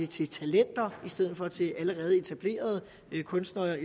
til talenter i stedet for til de allerede etablerede kunstnere